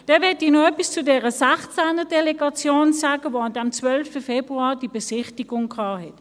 Dann möchte ich noch etwas zu dieser 16er-Delegation sagen, die an diesem 12. Februar die Besichtigung gemacht hat.